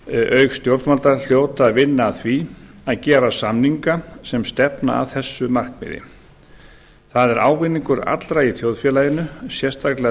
auk stjórnvalda hljóta að vinna að því að gera samninga sem stefna að þessu markmiði það er ávinningur allra í þjóðfélaginu sérstaklega